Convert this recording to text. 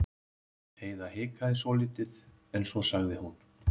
Heiða hikaði svolítið en svo sagði hún